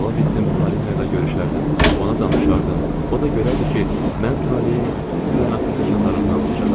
Ola bilsin Polina ilə görüşərdim, ona danışardım, o da görərdi ki, mən taleyin bütün bu mənasız təkanlarından ucayam.